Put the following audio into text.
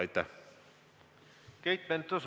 Aitäh teile!